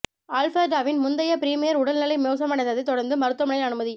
ஆல்பர்டாவின் முந்தைய ப்ரீமியர் உடல் நிலை மோசமடைந்ததை தொடர்ந்து மருத்துவமனையில் அனுமதி